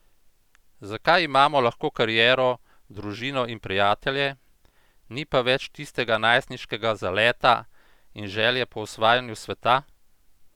Zakaj imamo lahko kariero, družino in prijatelje, ni pa več tistega najstniškega zaleta in želje po osvajanju sveta?